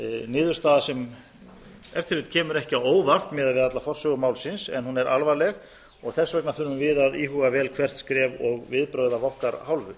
niðurstaða sem ef til vill kemur ekki á óvart miðað við alla forsögu málsins en hún er alvarleg og þess vegna þurfum við að íhuga vel hvert skref og viðbrögð af okkar hálfu